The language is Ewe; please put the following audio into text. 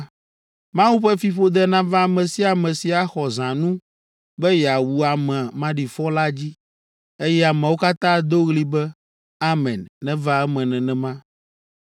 “Mawu ƒe fiƒode nava ame sia ame si axɔ zãnu be yeawu ame maɖifɔ la dzi.” Eye ameawo katã ado ɣli be, “Amen; neva eme nenema!”